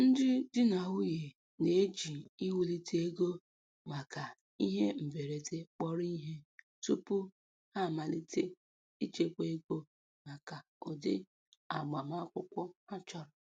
Ndị di na nwunye na-eji iwulite ego maka ihe mberede kpọrọ ihe tupu ha amalite ichekwa ego maka ụdị agbamakwụkwọ ha chọrọ.